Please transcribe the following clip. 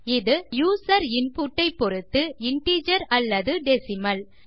இது user input ஐ பொருத்து இன்டிஜர் அல்லது டெசிமல்